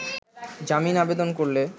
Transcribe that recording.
জামিন আবেদন করলে